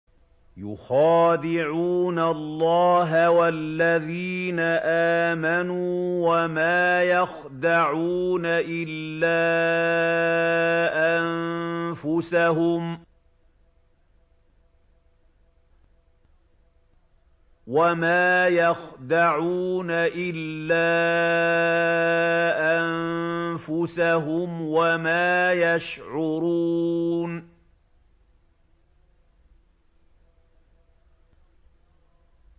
يُخَادِعُونَ اللَّهَ وَالَّذِينَ آمَنُوا وَمَا يَخْدَعُونَ إِلَّا أَنفُسَهُمْ وَمَا يَشْعُرُونَ